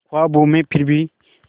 ख्वाबों में फिर भी